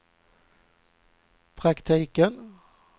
praktiken